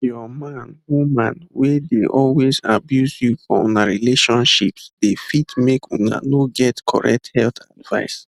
your man woman wey dey always abuse you for una relationships dey fit make una no get correct health advice